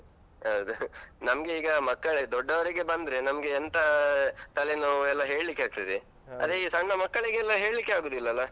ಹೌದು ನಮ್ಗೆ ಈಗ, ಮಕ್ಕಳೆ ದೊಡ್ಡವರಿಗೆ ಬಂದ್ರೆ ನಮ್ಗೆ ಎಂತ ತಲೆ ನೋವು ಎಲ್ಲ ಹೇಳಿಕ್ಕೆ ಆಗ್ತದೆ. ಅದೇ ಈ ಸಣ್ಣ ಮಕ್ಕಳಿಗೆಲ್ಲ ಹೇಳಿಕ್ಕೆ ಆಗುದಿಲ್ಲ ಅಲ.